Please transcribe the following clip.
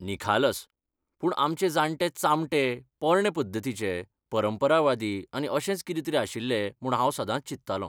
निखालस! पूण आमचे जाणटे चामटे, पोरणे पद्धतीचे, परंपरावादी आनी अशेंच कितेंतरी आशिल्ले म्हूण हांव सदांच चिंततालों .